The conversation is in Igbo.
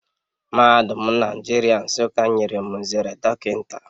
Mahadum Naijiria Nsuka nyere m nzere dockinta